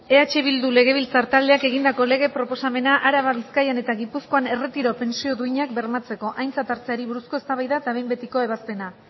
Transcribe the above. eh bildu legebiltzar taldeak egindako lege proposamena araban bizkaian eta gipuzkoan erretiro pentsio duinak bermatzeko aintzat hartzeari buruzko eztabaida eta behin betiko ebazpena